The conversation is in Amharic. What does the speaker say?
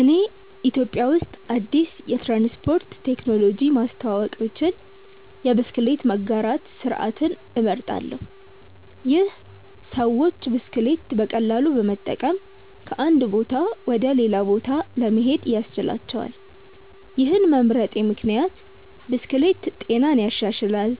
እኔ ኢትዮጵያ ውስጥ አዲስ የትራንስፖርት ቴክኖሎጂ ማስተዋወቅ ብችል የብስክሌት መጋራት ስርዓትን እመርጣለሁ። ይህ ሰዎች ብስክሌት በቀላሉ በመጠቀም ከአንድ ቦታ ወደ ሌላ ለመሄድ ያስችላቸዋል። ይህን መምረጤ ምክንያት ብስክሌት ጤናን ይሻሻላል፣